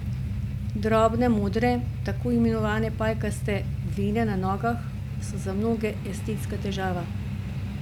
Drobne modre, tako imenovane pajkaste vene na nogah so za mnoge estetska težava.